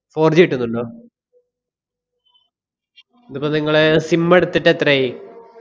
fourG കിട്ടുന്നുണ്ടോ? ഇതിപ്പോ നിങ്ങളെ sim എടുത്തിട്ടെത്രയായി?